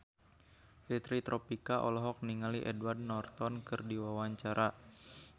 Fitri Tropika olohok ningali Edward Norton keur diwawancara